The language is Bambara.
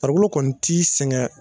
Farikolo kɔni t'i sɛgɛn